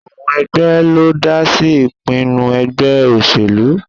Àwọn ẹgbẹ́ ló ń dá sí ìpinnu ẹgbẹ́ òṣèlú